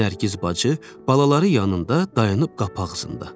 Nərgiz bacı balaları yanında dayanıb qapı ağzında.